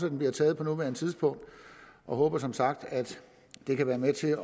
at den bliver taget på nuværende tidspunkt og håber som sagt at den kan være med til